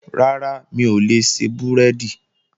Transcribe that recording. Rárá, mi ò lè ṣe búrẹ́dì